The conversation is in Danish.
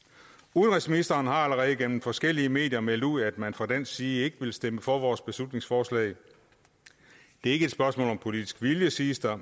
udenrigsministeren har allerede gennem forskellige medier meldt ud at man fra dansk side ikke vil stemme for vores beslutningsforslag det er ikke et spørgsmål om politisk vilje siger